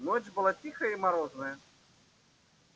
ночь была тихая и морозная